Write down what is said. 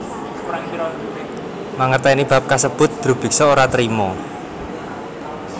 Mangerteni bab kasebut drubiksa ora trima